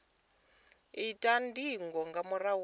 itwa ndingo nga murahu ha